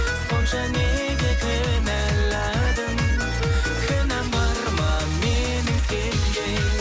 сонша неге кінәладың кінәм бар ма менің сенде